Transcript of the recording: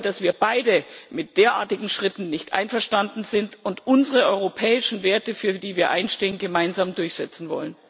Ich glaube, dass wir beide mit derartigen Schritten nicht einverstanden sind und unsere europäischen Werte, für die wir einstehen, gemeinsam durchsetzen wollen.